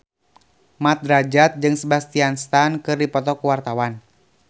Mat Drajat jeung Sebastian Stan keur dipoto ku wartawan